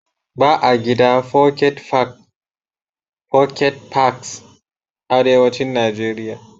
Ba a gida foket fak ( pocket parks) Arewacin Najeriya.